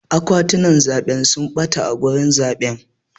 Akwatunan zaɓe sun ɓata a wurin zaɓe.